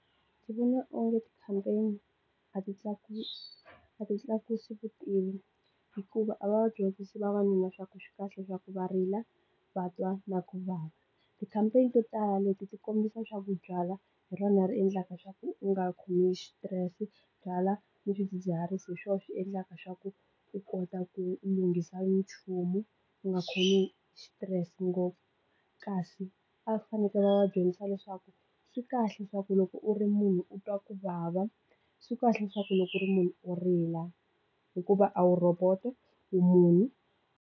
Ndzi vona onge ti campaign a ti tlakusi vutivi hikuva a va dyondzisi vavanuna swa ku swikahle swa ku va rila va twa na ku vava ti campaign to tala leti ti kombisa swaku byalwa hi rona ri endlaka swa ku u nga khomiwi hi xitirese byalwa ni swidzidziharisi hi swona xi endlaka swa ku u kota ku lunghisa nchumu u nga khomi xitirese ngopfu kasi a fanekele vadyondzisa leswaku swi kahle leswaku loko u ri munhu u twa ku vava swi kahle leswaku loko ku ri munhu u rila hikuva a wu roboto u munhu.